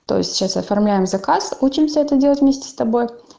то есть сейчас оформляем заказ учимся это делать вместе с тобой